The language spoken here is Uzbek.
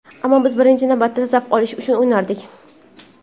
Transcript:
Ammo biz birinchi navbatda zavq olish uchun o‘ynardik.